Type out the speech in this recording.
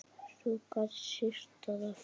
Svo gat syrt að aftur.